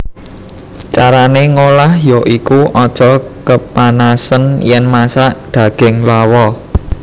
Carané ngolah ya iku aja kepanasen yèn masak daging lawa